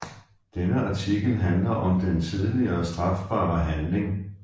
Denne artikel handler om den tidligere strafbare handling